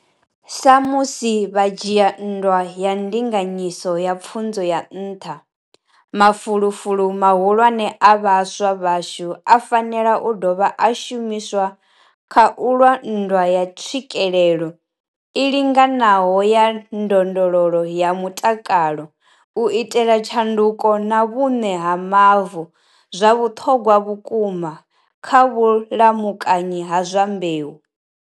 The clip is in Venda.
Sa musi vha tshi dzhia nndwa ya ndinganyiso ya pfunzo ya nṱha, mafulufulu mahulwane a vhaswa vhashu a fanela u dovha a shumiswa kha u lwa nndwa ya tswikelelo i linganaho ya ndondolo ya mutakalo, u itela tshanduko na vhuṋe ha mavu, zwa vhuṱhogwa vhukuma, kha vhulamukanyi ha zwa mbeu.